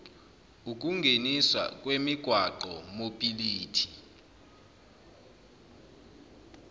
ukungeniswa kwemigwaqo mobility